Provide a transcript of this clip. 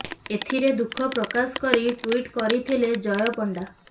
ଏଥିରେ ଦୁଃଖ ପ୍ରକାଶ କରି ଟୁଇଟ୍ କରିଥିଲେ ଜୟ ପଣ୍ଡା